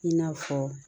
I n'a fɔ